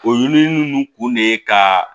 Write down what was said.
O ɲinili ninnu kun de ye ka